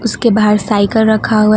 उसके बाहर साइकिल रखा हुआ--